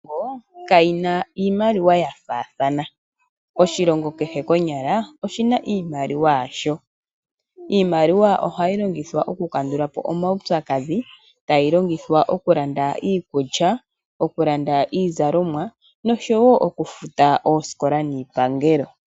Iilongo kayi na iimaliwa yafaathana . Oshilongo kehe konyala oshina iimaliwa yasho. Iimaliwa ohayi longithwa oku kandula po omaupyakadhi, tayi longithwa okulanda iikulya, okulanda iizalomwa noshowo okufuta oosikola niipangelo.